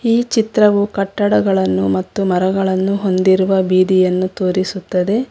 ಈ ಚಿತ್ರವು ಕಟ್ಟಡಗಳನ್ನು ಮತ್ತು ಮರಗಳನ್ನು ಹೊಂದಿರುವ ಬೀದಿಯನ್ನು ತೋರಿಸುತ್ತದೆ.